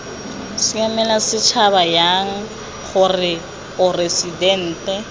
siamela setšhaba jang gore poresitente